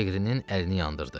Lequinin əlini yandırdı.